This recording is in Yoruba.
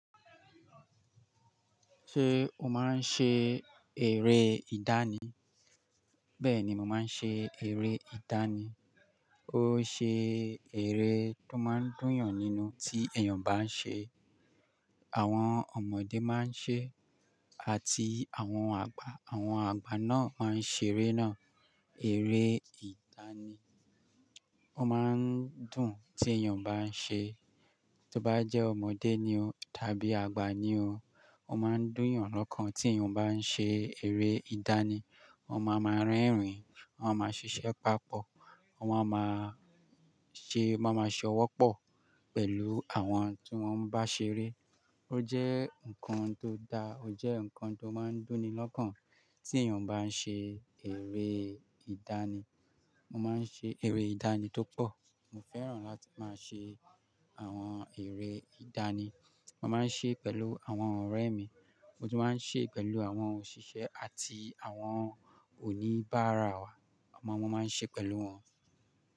Ṣé o máa ń ṣe eré ìdánì? Bẹ́ẹ̀ni, mo máa ń ṣe eré ìdánì. Ó ṣe eré tó máa ń dùn yàn nínú tí èèyàn bá ń ṣe. Àwọn ọmọdé máa ń ṣe àti àwọn àgbà. Àwọn àgbà náà máa ń ṣe eré náà, eré ìdánì. Ó máa ń dùn tí èèyàn bá ń ṣe. Tí o bá jẹ́ ọmọdé ni o tàbí àgbà ni o, ó máa ń dùn yàn lọ́kàn tí èèyàn bá ń ṣe eré ìdánì. Wọn máa ń máa rẹ́rìn-ín, wọ́n máa ń ṣiṣẹ́ papọ̀, wọ́n máa máa ṣe, wọ́n máa ń ṣe ọwọ́ pọ̀ pẹ̀lú àwọn tí wọ́n bá ṣe eré. Ó jẹ́ nǹkan tó dáa, ó jẹ́ nǹkan tó máa ń dùn ni lọ́kàn tí èèyàn bá ń ṣe eré ìdánì. Mo máa ń ṣe eré ìdánì tó pọ̀. Mo fẹ́ràn láti máa ṣe àwọn eré ìdánì. Mo máa ń ṣe pẹ̀lú àwọn ọ̀rẹ́ mi. Mo tún máa ń ṣe pẹ̀lú àwọn òṣìṣẹ́ àti àwọn òníbára wa. Ọmọ wọn máa ń ṣe pẹ̀lú wọn.